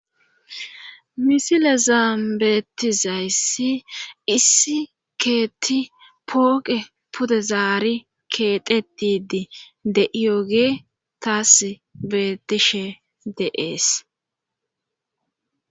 misile zaambeetizayssi issi keeti pooqe pudezaari keetetidii de7iyoge taas betishe deees